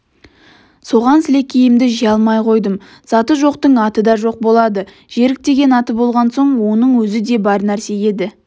соған сілекейімді жия алмай қойдым заты жоқтың аты да жоқ болады жерік деген аты болған соң оның өзі де бар нәрсе еді